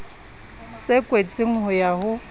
se kwetsweng ho ya ho